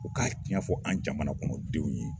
U ka tiɲa fɔ an jamana kɔnɔ denw ye.